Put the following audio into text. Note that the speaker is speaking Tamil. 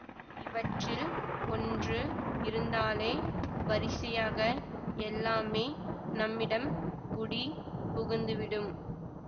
இவற்றில் ஒன்று இருந்தாலே வரிசையாக எல்லாமே நம்மிடம் குடி புகுந்துவிடும்